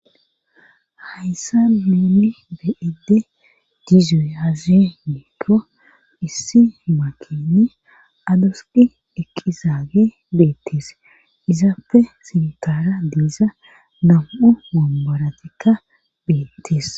hayssa nun be'd dizuyaze miikko issi makine adusi eqqizaage beettees izaapfe sintara diiza nam'u womborayikka beettes